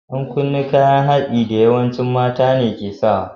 Yan kunne kayan haɗi da yawanci mata ne ke sawa.